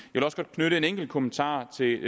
knytte en enkelt kommentar til